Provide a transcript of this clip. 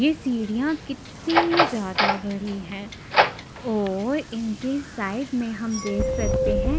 ये सीढ़ियाँ कितनी ज्यादा बड़ी हैं और इनके साइड में हम देख सकते हैं।